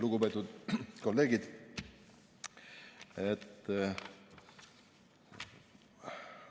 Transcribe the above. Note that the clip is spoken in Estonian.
Lugupeetud kolleegid!